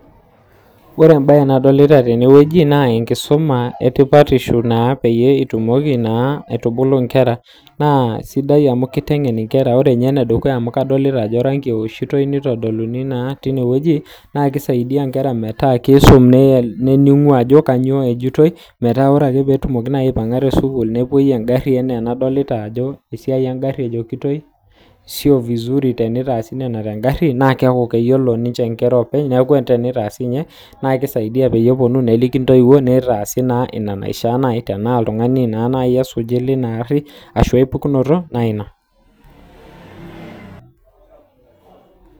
ore embaye nadolita tene naa enkisuma oo nkaik naitengenitae inkera naa kisaidia ena inkera matayiolito ntokiting kummok nilepunye enkisui enye kisaidia sii ajo keeku ore ake peyie idip sukuul naa kepuo newosh intokiting olarangi enaa sahi engari tenebo ake kulie kumok neyiolou kulie tokiting kumok nailepunye maisha enye